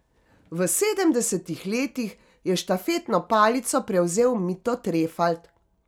V sedemdesetih letih je štafetno palico prevzel Mito Trefalt.